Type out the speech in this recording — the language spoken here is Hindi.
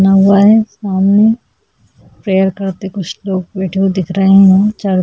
बना हुआ है सामने प्रेयर करते कुछ लोग बैठे हुए दिख रहे हैं चारों --